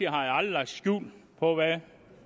aldrig lagt skjul på hvad